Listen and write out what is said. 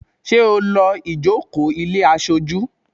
Ṣé o lọ́ ìjókòó ilé aṣojú?